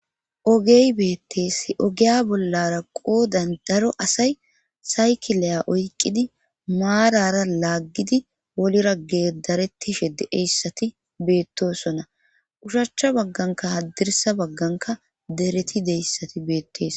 ogey beettees ogiya bollara qoodan daro asay saykilaya oyqidi maarara laaggidi wolra gedarettishe de'iyssati beettosona ushachcha bagganka haddirsa bagganka dereti deyssati beettees